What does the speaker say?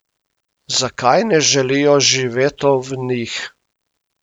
Zakaj ne želijo živeto v njih?